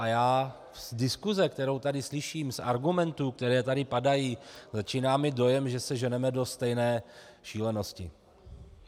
A já z diskuse, kterou tady slyším, z argumentů, které tady padají, začínám mít dojem, že se ženeme do stejné šílenosti.